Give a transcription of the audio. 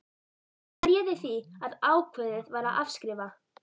Hvað réði því að ákveðið var að afskrifa?